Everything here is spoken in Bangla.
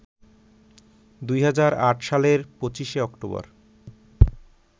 ২০০৮ সালের ২৫ অক্টোবর